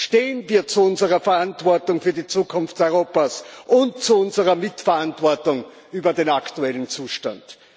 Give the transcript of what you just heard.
Stehen wir zu unserer Verantwortung für die Zukunft Europas und zu unserer Mitverantwortung für den aktuellen Zustand!